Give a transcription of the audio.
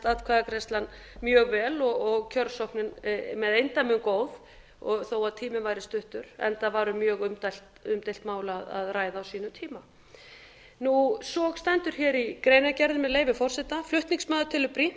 atkvæðagreiðslan mjög vel og kjörsóknin með eindæmum góð þó að tíminn væri stuttur enda var um mjög umdeilt mál að ræða á sínum tíma svo stendur hér í greinargerðinni með leyfi forseta flutningsmaður telur brýnt